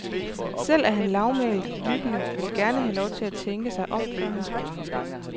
Selv er han lavmælt, lyttende, vil gerne have lov at tænke sig om, før han svarer.